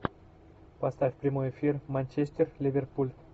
поставь прямой эфир манчестер ливерпуль